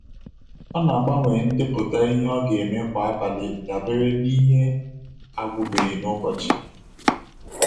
Ọ na-agbanwe ndepụta ihe ọ ga eme kwa abalị dabere n’ihe agwụbeghị n’ụbọchị.